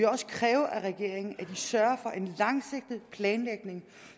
også kræve af regeringen at de sørger for en langsigtet planlægning